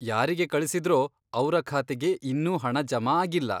ಯಾರಿಗೆ ಕಳಿಸಿದ್ರೋ ಅವ್ರ ಖಾತೆಗೆ ಇನ್ನೂ ಹಣ ಜಮಾ ಆಗಿಲ್ಲ.